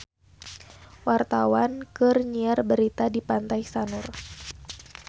Wartawan keur nyiar berita di Pantai Sanur